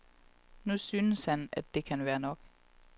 Nu synes han, at det kan være nok.